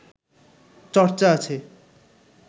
চর্চা আছে